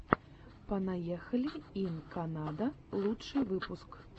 понаехали ин канада лучший выпуск